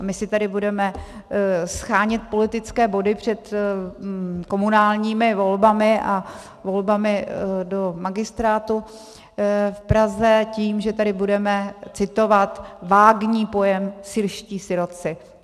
A my si tady budeme shánět politické body před komunálními volbami a volbami do magistrátu v Praze tím, že tady budeme citovat vágní pojem syrští sirotci.